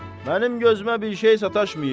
Mənim gözümə bir şey sataşmayıb.